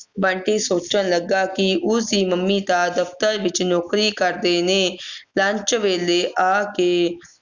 ਬੰਟੀ ਸੋਚਣ ਲੱਗਾ ਕਿ ਉਸ ਦੀ ਮੰਮੀ ਤਾਂ ਦਫ਼ਤਰ ਵਿੱਚ ਨੌਕਰੀ ਕਰਦੇ ਨੇ lunch ਵੇਲੇ ਆ ਕੇ